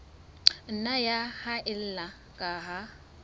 nna ya haella ka ha